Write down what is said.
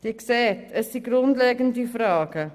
Sie sehen also, es handelt sich um grundlegende Fragen.